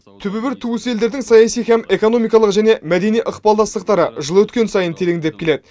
түбі бір туыс елдердің саяси һәм экономикалық және мәдени ықпалдастықтары жыл өткен сайын тереңдеп келеді